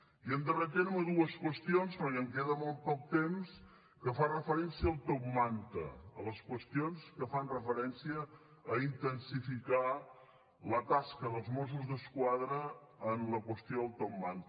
i en darrer terme dues qüestions perquè em queda molt poc temps que fan referència al top manta a les qüestions que fan referència a intensificar la tasca dels mossos d’esquadra en la qüestió del top manta